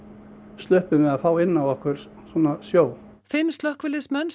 sluppum við að fá inn á okkur sjó fimm slökkviliðsmenn